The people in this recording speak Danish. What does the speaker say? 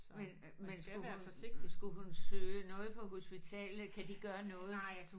Men men skulle hun skulle hun søge noget på hospitalet kan de gøre noget?